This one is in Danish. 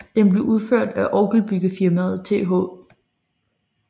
Den blev udført af orgelbyggerfirmaet Th